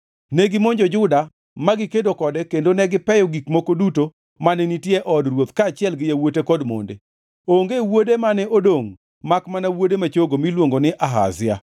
Negimonjo Juda magi kedo kode kendo negipeyo gik moko duto mane nitie e od ruoth kaachiel gi yawuote kod monde. Onge wuode mane odongʼ makmana wuode ma chogo miluongo ni Ahazia.